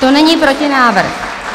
To není protinávrh.